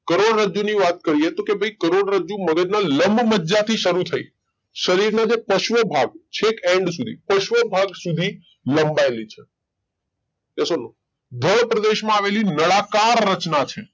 કરોડરજ્જુ ની વાત કરીયે તો કે ભઈ કરોડરજ્જુ મગજ ના લંબમજ્જા થી શરુ થઇ શરીર ના જે પશ્વ ભાગ છેક એન્ડ સુધી પશ્વ ભાગ સુધી લંબાયેલી છે Yes or No ભય પ્રદેશ માં આવેલી નળાકાર રચના છે.